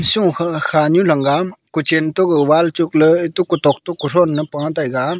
shokha khanu Lang ga kuchan to ga wall chokle to kutok to kuthon e pa taga.